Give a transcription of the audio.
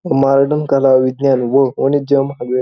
modern कला विज्ञान व वाणिज्य महावि --